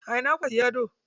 A ina kuka siya gado?